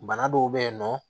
Bana dɔw be yen nɔ